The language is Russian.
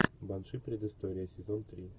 банши предыстория сезон три